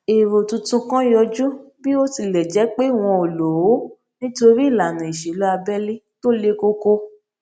èrò tuntun kan yọjú bí ó tilẹ jé pé wọn ò lò ó nítorí ìlànà ìṣèlú abẹlé tó le koko